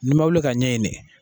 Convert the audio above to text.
Ni ma wuli ka ɲɛ ɲini.